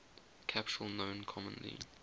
capsule known commonly